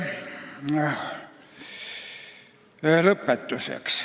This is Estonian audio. Lõpetuseks.